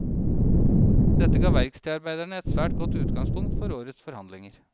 Dette ga verkstedarbeiderne et svært godt utgangspunkt for årets forhandlinger.